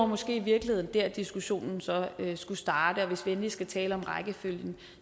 måske i virkeligheden der diskussionen så skulle starte og hvis vi endelig skal tale om rækkefølgen